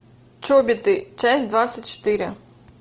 чобиты часть двадцать четыре